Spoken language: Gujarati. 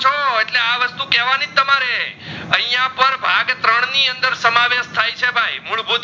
તો આ વસ્તુ કહેવાનીજ તમારે આઇયાં પણ ભાગ ત્રણ ની અંદર સમાવેશ થઈ છે ભાઈ મુળભૂત